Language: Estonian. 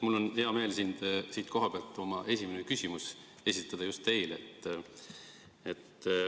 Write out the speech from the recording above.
Mul on hea meel siit kohapealt oma esimene küsimus esitada just teile.